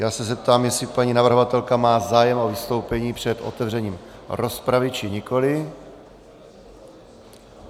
Já se zeptám, jestli paní navrhovatelka má zájem o vystoupení před otevřením rozpravy, či nikoli.